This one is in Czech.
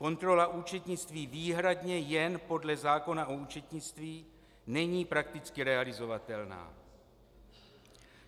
Kontrola účetnictví výhradně jen podle zákona o účetnictví není prakticky realizovatelná.